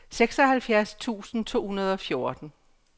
seksoghalvfjerds tusind to hundrede og fjorten